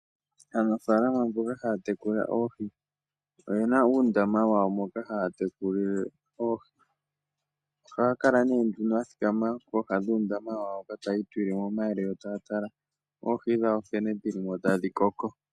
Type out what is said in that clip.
Aanafaalama mboka haya tekula oohi oye na uundama wawo moka haya tekulile oohi. Ohaya kala nee nduno ya thikama kooha dhuundama wawo hoka taya itulile mo omayele, yo taya tala oohi dhawo nkene dhili mo tadhi koko.